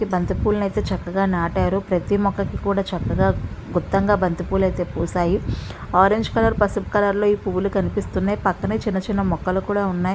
ఈ బంతి పూలని అయితే చక్కగా నాటారు. ప్రతి మొక్కకి కూడా చక్కగా గుత్తంగా బంతి పూలు అయితే పూసాయి. ఆరంజ్ కలర్ పసుపు కలర్ లో ఈ పూలు కనిపిస్తున్నాయ్. పక్కనే చిన్న చిన్న మొక్కలు కూడా ఉన్నాయ్.